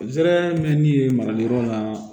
Zɛrɛmɛnni marali yɔrɔ la